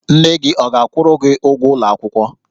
Nne gị ọ ga-akwụrụ gi ụgwọ ụlọ akwụkwọ?